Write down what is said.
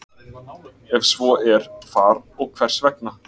Ef svo er hvar og hvers vegna?